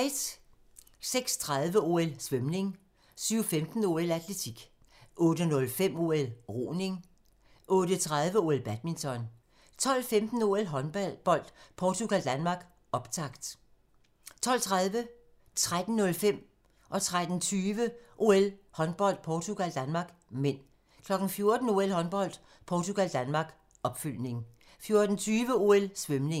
06:30: OL: Svømning 07:15: OL: Atletik 08:05: OL: Roning 08:30: OL: Badminton 12:15: OL: Håndbold - Portugal-Danmark, optakt 12:30: OL: Håndbold - Portugal-Danmark (m) 13:05: OL: Håndbold - Portugal-Danmark 13:20: OL: Håndbold - Portugal-Danmark (m) 14:00: OL: Håndbold - Portugal-Danmark, opfølgning 14:20: OL: Svømning